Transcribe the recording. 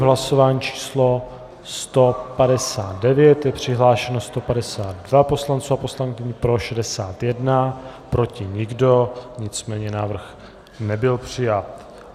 V hlasování číslo 159 je přihlášeno 152 poslanců a poslankyň, pro 61, proti nikdo, nicméně návrh nebyl přijat.